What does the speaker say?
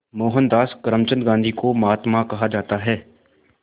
मोहनदास करमचंद गांधी को महात्मा कहा जाता है